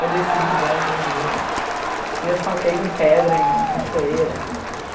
Eu desci de boia aquele rio, e eu saltei de pedra em cachoeira.